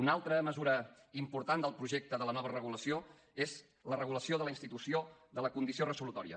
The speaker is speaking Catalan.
una altra mesura important del projecte de la nova regulació és la regulació de la institució de la condició resolutòria